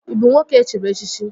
Ị bụ nwoke e chiri echichi?